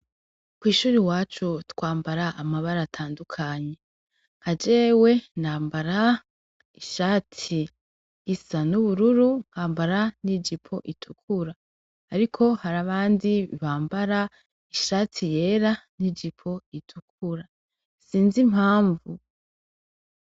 Kw'ishuri iwacu twambara amabara atandukanye, nka jewe nambara ishati isa n'ubururu, nkambara n'ijipo itukura ariko hari abandi bambara ishati yera n'ijipo itukura, sinzi impamvu.